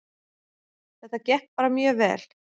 Þetta gekk bara mjög vel